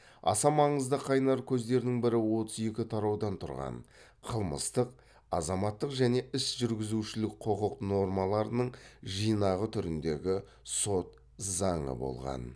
аса маңызды қайнар көздердің бірі отыз екі тараудан тұрған қылмыстық азаматтық және іс жүргізушілік құқық нормаларының жинағы түріндегі сот заңы болған